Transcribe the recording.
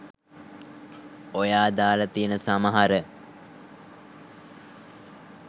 ඔයා දාල තියන සමහර